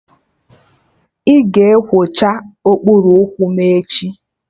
Ị ga-ekwocha okpuru ụkwụ m echi?